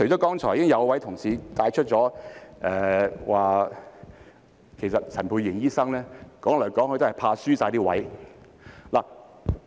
剛才已經有同事帶出一點，指陳沛然醫生說來說去其實也是怕輸了席位。